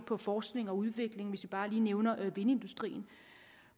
på forskning og udvikling hvis vi bare lige nævner vindindustrien og